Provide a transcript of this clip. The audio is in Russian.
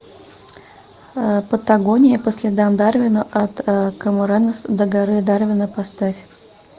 патагония по следам дарвина от камаронес до горы дарвина поставь